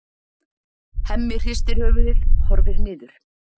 Hemmi hristir höfuðið, horfir niður.